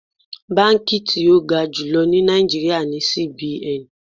Báǹkì tí ó ga jùlọ ní Nàìjíríà ni CBN.